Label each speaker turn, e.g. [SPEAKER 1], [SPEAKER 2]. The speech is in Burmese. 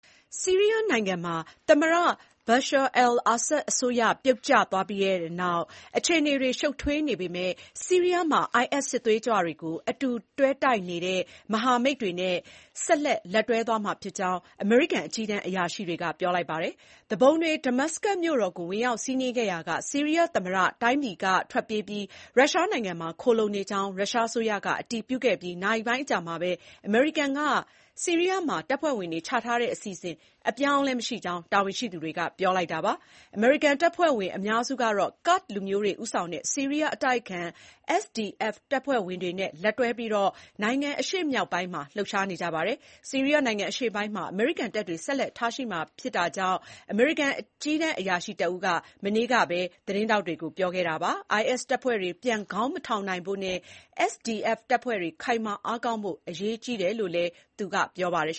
[SPEAKER 1] ဆီးရီးယားနိုင်ငံမှာ သမ္မတ Bashar al-Assad အစိုးရ ပြုတ်ကျခဲ့ပြီးနောက် အခြေအနေတွေ ရှုပ်ထွေးနေ ပေမဲ့ ဆီးရီးယားမှာIS စစ်သွေးကြွတွေကို အတူတွဲတိုက်နေတဲ့မဟာမိတ်တွေနဲ့ ဆက်လက် လက်တွဲ သွားမှာဖြစ်ကြောင်းအမေရိကန် အကြီးတန်းအရာရှိတွေက ပြောလိုက်ပါတယ်။ သူပုန်တွေ ဒမတ်စကတ်မြို့တော်ကို ဝင်ရောက်စီးနင်းခဲ့ရာက ဆီးရီးယားသမ္မတတိုင်းပြည်က ထွက်ပြေးပြီး ရုရှားနိုင်ငံမှာခိုလှုံနေကြောင်း ရုရှားအစိုးရကအတည်ပြုခဲ့ပြီး နာရီပိုင်းအကြာမှာပဲ အမေရိကန်က ဆီးရီးယားမှာ တပ်ဖွဲ့ဝင်တွေ ချထားတဲ့ အစီအစဉ် အပြောင်းအလဲမရှိကြောင်း တာဝန်ရှိသူတွေက ပြောလိုက်တာပါ။ အမေရိကန် တပ်ဖွဲ့ဝင် အများစုကတော့ကာ့ဒ်လူမျိုးတွေ ဦးဆောင်တဲ့ ဆီးရီးယား အတိုက်အခံ SDF တပ်ဖွဲ့ဝင်တွေနဲ့ လက်တွဲပြီး နိုင်ငံအရှေ့မြောက်ပိုင်းမှာလှုပ်ရှားနေကြပါတယ်။ ဆီးရီးယားနိုင်ငံ အရှေ့ပိုင်းမှာ အမေရိကန်တပ်တွေ ဆက်လက်ထားရှိမှာဖြစ်ကြောင့် အမေရိကန် အကြီးတန်းအရာရှိတဦးက မနေ့ကပဲ သတင်းထောက်တွေကို ပြောခဲ့တာပါ။ IS တပ်ဖွဲ့တွေ ပြန် ခေါင်းမထောင်နိုင်ဖို့နဲ့ SDF တပ်ဖွဲ့တွေ ခိုင်မာအားကောင်းဖို့ အရေးကြီးတယ်လို့လည်း ပြောပါတယ်